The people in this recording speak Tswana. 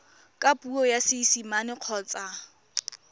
ka puo ya seesimane kgotsa